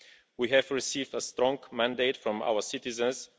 We have received a strong mandate from our citizens.